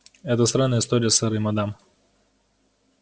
это странная история сэр и мадам